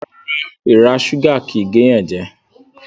Rárá, èrà súgà kìí géyànjẹ